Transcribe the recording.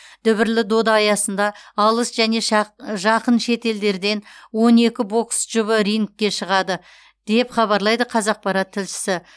дүбірлі дода аясында алыс және жақын шетелдерден он екі бокс жұбы рингке шығады деп хабарлайды қазақпарат тілшісі